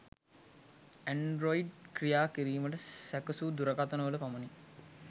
Android ක්‍රියා කිරිමට සැකසු දුරකථන වල පමණි